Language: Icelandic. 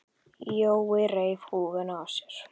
Jói reif húfuna af sér.